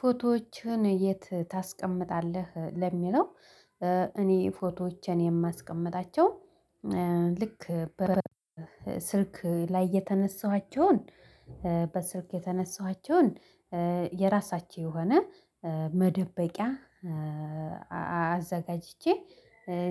ፎቶዎችህን የት ታስቀምጣለህ? ለሚለው እኔ ፎቶዎችን የማስቀምጣቸው ልክ በስልክ ላይ የተነሳኋቸውን በስልክ የተነሳኋቸውን የራሳቸው የሆነ መደበቂያ አዘጋጅቼ